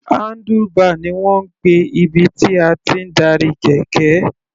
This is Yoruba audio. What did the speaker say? Handlebar ni wọ́n ń pè ibi tí a ti ń darí kẹ̀kẹ́.